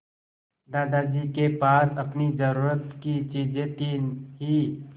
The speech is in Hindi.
दादाजी के पास अपनी ज़रूरत की चीजें थी हीं